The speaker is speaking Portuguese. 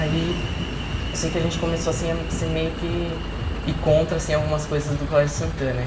Aí, eu sei que a gente começou, assim, a ser meio que... Ir contra, assim, algumas coisas do Colégio Santana.